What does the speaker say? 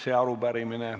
Näidata kellegi peale näpuga?